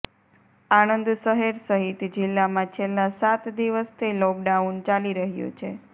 આણંદ શહેર સહિત જીલ્લામાં છેલ્લા સાત દિવસથી લોકડાઉન ચાલી રહ્યું છે